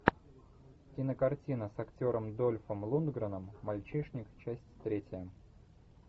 кинокартина с актером дольфом лундгреном мальчишник часть третья